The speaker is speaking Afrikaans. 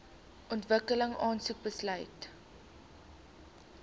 ontwikkeling aansoek besluit